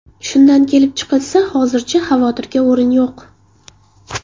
Shundan kelib chiqilsa, hozircha xavotirga o‘rin yo‘q.